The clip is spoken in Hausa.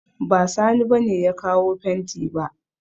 Ba Sani ba ne ya kawo fenti ba